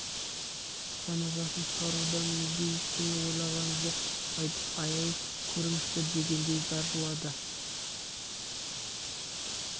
жаназасын шығарудан өзге ештеңе ойлаған жоқ айтып аяй көріңізші дегендей зар жылады